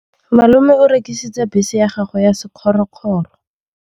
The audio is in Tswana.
Malome o rekisitse bese ya gagwe ya sekgorokgoro.